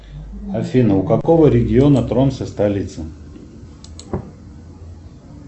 афина у какого региона тронце столица